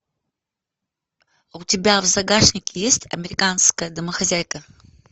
у тебя в загашнике есть американская домохозяйка